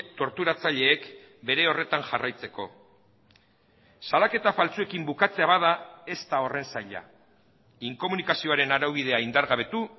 torturatzaileek bere horretan jarraitzeko salaketa faltsuekin bukatzea bada ez da horren zaila inkomunikazioaren araubidea indargabetu